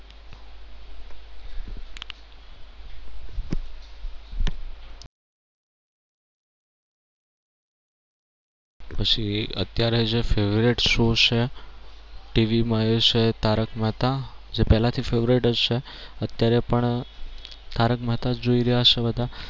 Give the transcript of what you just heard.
પછી અત્યારે જે favorite show છે TV માં છે એ છે તારક મહેતા જે પહેલા થી favourite જ છે અત્યારે પણ તારક મહેતા જ જોઈ રહ્યા હશે બધા.